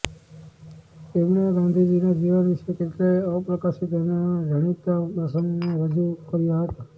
તેમણે ગાંધીજીના જીવન વિશે કેટલાય અપ્રકાશિત અને ન જાણીતાં પ્રસંગો રજૂ કર્યા હતા